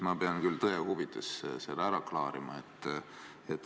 Ma pean küll tõe huvides selle ära klaarima.